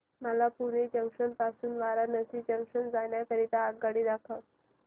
मला पुणे जंक्शन पासून वाराणसी जंक्शन जाण्या करीता आगगाडी दाखवा